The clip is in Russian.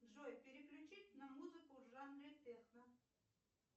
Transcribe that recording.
джой переключить на музыку в жанре техно